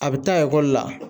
A bɛ taa ekɔli la